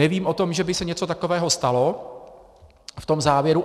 Nevím o tom, že by se něco takového stalo v tom závěru.